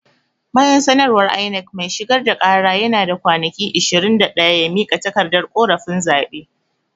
Bayan sanarwar INEC, mai shigar da kara yana da kwanaki ishirin da daya ya mika takardar korafin zaɓe.